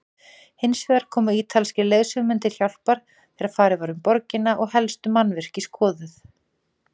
Hinsvegar komu ítalskir leiðsögumenn til hjálpar þegar farið var um borgina og helstu mannvirki skoðuð.